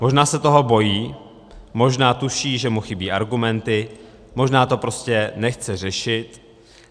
Možná se toho bojí, možná tuší, že mu chybí argumenty, možná to prostě nechce řešit.